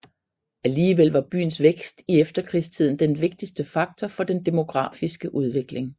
Alligevel var byens vækst i efterkrigstiden den vigtigste faktor for den demografiske udvikling